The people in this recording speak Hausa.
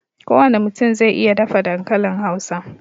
Ko wane mutum zai iya dafa dankalin Hausa